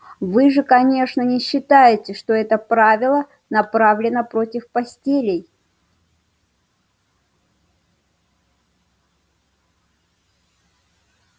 вы же конечно не считаете что это правило направлено против постелей